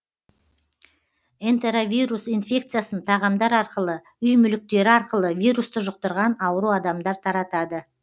энтеровирус инфекциясын тағамдар арқылы үй мүліктері арқылы вирусты жұқтырған ауру адамдар таратады